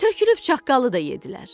Tökülüb çaqqalı da yeddilər.